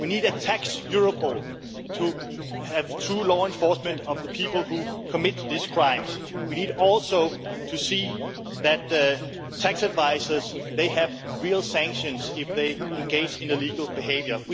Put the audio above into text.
We need a tax Europol to have true law enforcement for the people who commit these crimes. We need also to see that tax advisers face real sanctions if they engage in illegal behaviour.